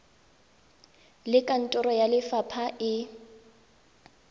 le kantoro ya lefapha e